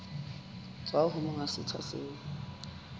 tswa ho monga setsha seo